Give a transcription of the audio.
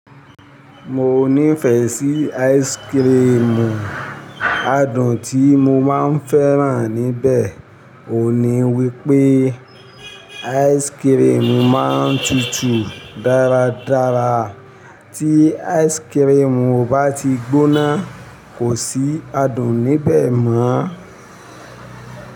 Mo nífẹ̀ẹ́ sí áìsikirimù, adùn tí mo máa ń fẹ́ràn níbẹ̀ ò ní wípé áìsikirimù máa tútù dáradára. Tí áìsikirimù bá ti gbóná, kò sí adùn níbẹ̀ mọ́.